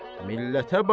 Millətə bax!